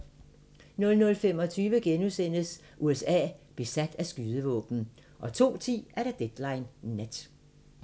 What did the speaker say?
00:25: USA – besat af skydevåben * 02:10: Deadline Nat